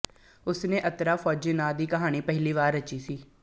ਉਸਨੇ ਅਤਰਾ ਫੌਜੀ ਨਾਂ ਦੀ ਕਹਾਣੀ ਪਹਿਲੀ ਵਾਰ ਰਚੀ ਸੀ